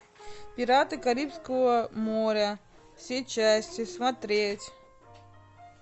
пираты карибского моря все части смотреть